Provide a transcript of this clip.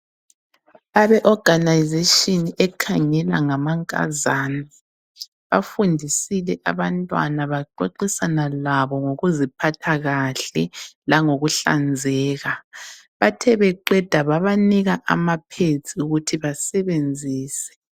Abe organization ekhangela ngama nkazana bafundisile abantwana baxoxisana labo ngokuziphatha kahle ,langokuhlanzeka. Bathe beqeda babanika ama pads ukuthi basebenzise.